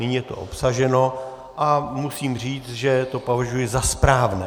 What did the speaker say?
Nyní je to obsaženo a musím říct, že to považuji za správné.